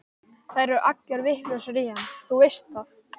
Þær eru allar vitlausar í hann, þú veist það.